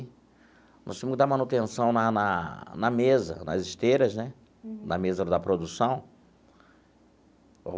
Nós temos que dar manutenção na na na mesa, nas esteiras né, na mesa da produção.